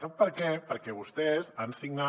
sap per què perquè vostès han signat